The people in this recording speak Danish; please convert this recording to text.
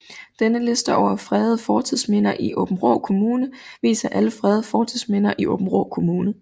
Denne liste over fredede fortidsminder i Aabenraa Kommune viser alle fredede fortidsminder i Aabenraa Kommune